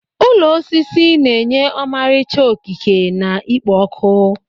Ụlọ osisi na-enye ọmarịcha okike na ikpo ọkụ.